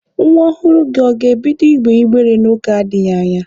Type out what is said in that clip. Nwa ọhụrụ gị ọ ga-ebido ịgbe ịgbere n'oge na-adịghi anya?